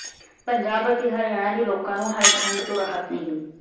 ਪੰਜਾਬ ਅਤੇ ਹਰਿਆਣਾ ਦੇ ਲੋਕਾਂ ਨੂੰ ਹਾਲੇ ਠੰਢ ਤੋਂ ਰਾਹਤ ਨਹੀਂ